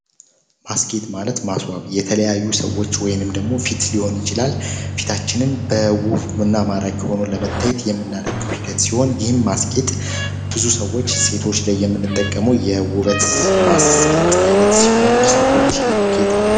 ማስኬት ማለት ማስዋብ የተለያዩ ሰዎች ወይንም ደግሞ ፊት ሊሆኑ ይችላል ፊታችንን በውፉምና ማራክ ሆኖን ለመታይት የምናደርገው ሂደት ሲሆን ይህም ማስኬት ብዙ ሰዎች ሴቶች ላይ የምንጠቀመው የውበት ማስኬት ዓይነት ሲሆን ሰዎች ይጌጣሉ፡፡